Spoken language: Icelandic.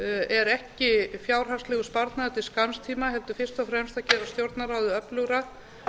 er ekki fjárhagslegur sparnaður til skamms tíma heldur fyrst og fremst að gera stjórnarráðið öflugra